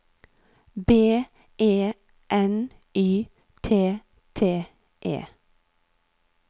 B E N Y T T E